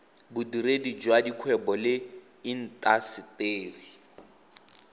bodiredi jwa dikgwebo le intaseteri